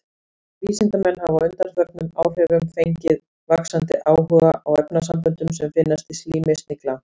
Vísindamenn hafa á undanförnum áhrifum fengið vaxandi áhuga á efnasamböndum sem finnast í slími snigla.